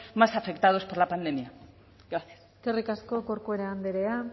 más afectados por la pandemia gracias eskerrik asko corcuera andrea